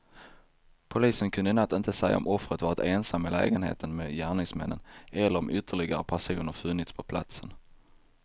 Polisen kunde i natt inte säga om offret varit ensam i lägenheten med gärningsmännen eller om ytterligare personer funnits på platsen.